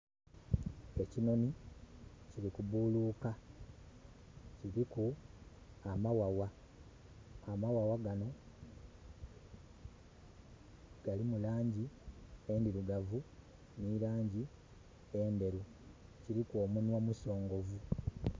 Ekinhonhi kili buluuka. Kiliku amaghagha. Amaghagha gano galimu laangi endhirugavu n'elaangi endheru. Kiliku omunhwa musongovu.